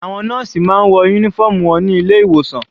Àwọn nọ́ọ̀sì máa ń wọ uniform wọn ní ilé ìwòsan.